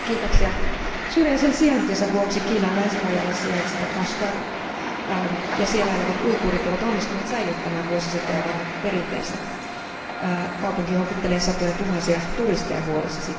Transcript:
Arvoisa puhemies, syrjäisen sijaintinsa vuoksi Kiinan länsirajalla sijaitseva Kashgar ja siellä elävät uiguurit ovat onnistuneet säilyttämään vuosisatoja vanhat perinteensä. Kaupunki houkuttelee siksi satojatuhansia turisteja vuodessa.